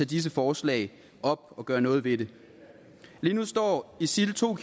disse forslag op og gøre noget ved det lige nu står isil to